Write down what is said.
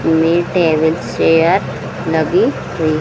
में tables chair लगी हुई --